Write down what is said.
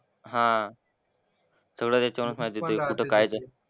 हां. सगळं त्याच्यावरूनच माहिती होते कुठं काय झालं.